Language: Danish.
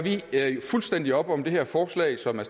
fuldstændig op om det her forslag som er